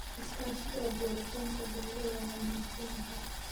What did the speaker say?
Iskaashiga abuuritaanka beero waa wanaagsan yahay.